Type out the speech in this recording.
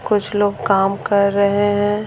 कुछ लोग काम कर रहे हैं।